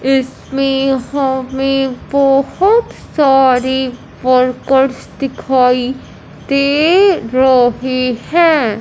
इसमें हमें बहोत सारी वर्कर्स दिखाई दे रहे हैं।